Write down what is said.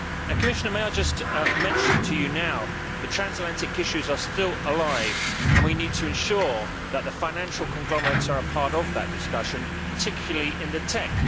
Commissioner, may I just mention to you now that transatlantic issues are still alive, and we need to ensure that the financial conglomerates are a part of that discussion, particularly in the TEC.